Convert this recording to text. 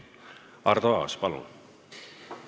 Arto Aas, palun!